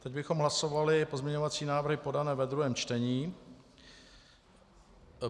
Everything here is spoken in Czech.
Teď bychom hlasovali pozměňovací návrhy podané ve druhém čtení.